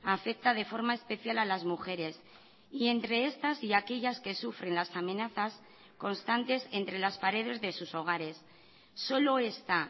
afecta de forma especial a las mujeres y entre estas y aquellas que sufren las amenazas constantes entre las paredes de sus hogares solo esta